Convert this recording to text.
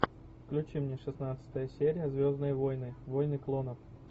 включи мне шестнадцатая серия звездные войны войны клонов